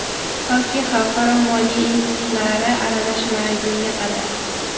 Toki xalqaro moliya institutlari aralashmagunga qadar.